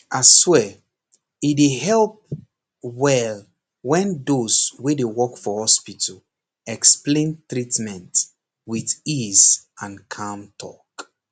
aswear e dey help well when those wey dey work for hospital explain treatment with easy and calm talk